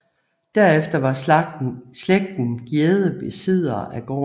Derefter var slægten Gjedde besiddere af gården